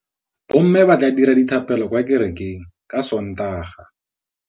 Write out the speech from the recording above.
Bommê ba tla dira dithapêlô kwa kerekeng ka Sontaga.